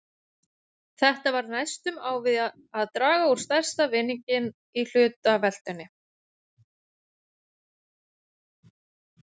Þetta var næstum á við að draga út stærsta vinninginn í hlutaveltunni!